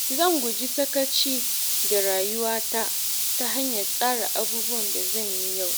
Zan guji sakaci da rayuwata ta hanyar tsara abubuwan da zan yi yau.